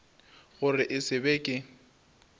gore e se be ke